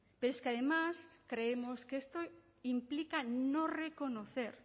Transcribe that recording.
pero es que además creemos que esto implica no reconocer